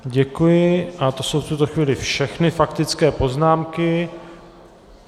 Děkuji a to jsou v tuto chvíli všechny faktické poznámky.